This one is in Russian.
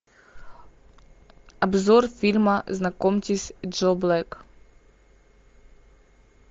обзор фильма знакомьтесь джо блэк